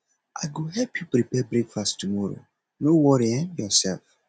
i go help you prepare breakfast tomorrow no worry um yoursef